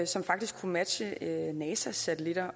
som faktisk kunne matche nasas satellitter